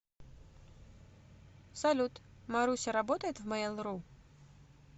салют маруся работает в мейл ру